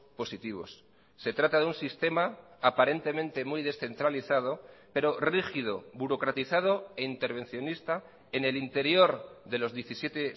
positivos se trata de un sistema aparentemente muy descentralizado pero rígido burocratizado e intervencionista en el interior de los diecisiete